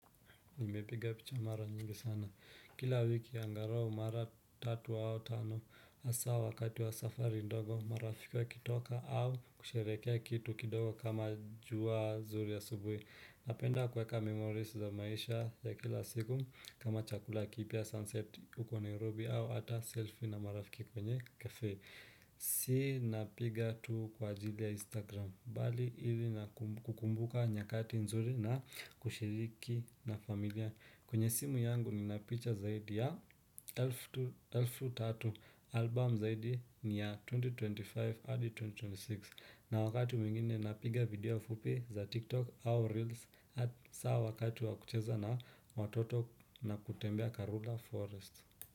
Nimepiga picha mara nyingi sana. Kila wiki angarau mara tatu au tano hasa wakati wa safari ndogo marafiki wakitoka au kusherekea kitu kidogo kama jua zuri asubui. Napenda kweka memories za maisha ya kila siku kama chakula kipya sunset uko nairobi au ata selfie na marafiki kwenye cafe. Si napiga tu kwa ajili ya instagram bali ili kukumbuka nyakati nzuri na kushiriki na familia. Kwenye simu yangu nina picha zaidi ya elfu tatu. Album zaidi ni ya elfu mbili na ishirini na tano hadi elfu mbili na ishirini na sita. Na wakati mwingine napiga video fupi za tiktok au reels. Sa wakati wakucheza na watoto na kutembea karula forest.